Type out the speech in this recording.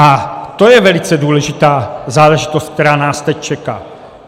A to je velice důležitá záležitost, která nás teď čeká.